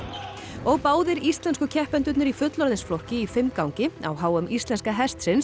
og báðir íslensku keppendurnir í fullorðinsflokki í fimmgangi á h m íslenska hestsins